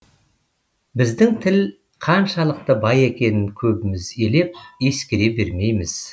біздің тіл қаншалықты бай екенін көбіміз елеп ескере бермейміз